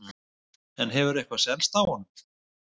En hefur eitthvað selst af honum?